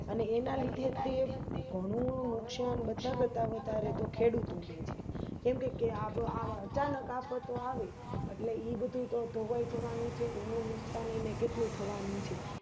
અને એના લીધે ઘણું નુક્સોન બધા કરતા વધારે તો ખેડૂતો ને છે એ કેમકે અચાનક આફતો આવે એટલે ઇબ્ધું તો ધોવાઇ જવાનું છે ઈનું નુકસાન એને કેટલું થવાનું છે